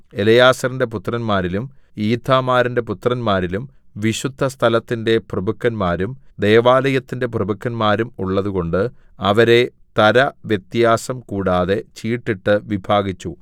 എലെയാസാരിന്റെ പുത്രന്മാരിലും ഈഥാമാരിന്റെ പുത്രന്മാരിലും വിശുദ്ധസ്ഥലത്തിന്റെ പ്രഭുക്കന്മാരും ദൈവാലയത്തിന്റെ പ്രഭുക്കന്മാരും ഉള്ളതുകൊണ്ട് അവരെ തരവ്യത്യാസം കൂടാതെ ചീട്ടിട്ടു വിഭാഗിച്ചു